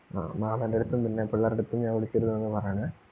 ആ മാമന്റെടുത്തും പിന്നെ പിള്ളേരടുത്തും ഞാൻ വിളിച്ചിരുന്നു എന്ന് പറയണേ.